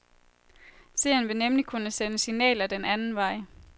Seeren vil nemlig kunne sende signaler den anden vej.